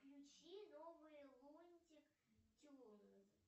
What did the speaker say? включи новые лунтик тюнз